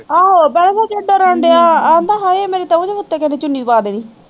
ਆਹੋ ਕਹੇਗਾ ਕਹਿੰਦਾ ਹਾਏ ਮੇਰੇ ਤਾਂ ਉੱਤੇ ਕਿਸੇ ਨੇ ਚੁੰਨੀ ਪਾ ਦੇਣੀ